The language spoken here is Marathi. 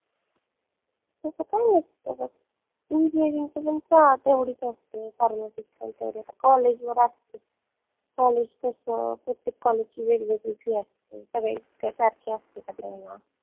तस काई नसत बघ engineering ची पन तेवढीच आसते Pharmacy ची पन तेवढी आता college वर आसत college कस प्रत्येक college ची वेगवेगळी fee आसते सगळे एक सारखे आसते का